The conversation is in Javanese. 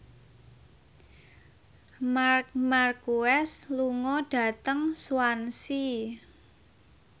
Marc Marquez lunga dhateng Swansea